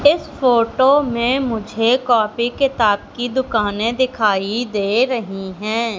इस फोटो में मुझे कॉपी किताब की दुकाने दिखाई दे रही हैं।